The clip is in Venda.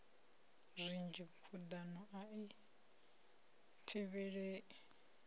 zwinzhi khuḓano a i thivhelei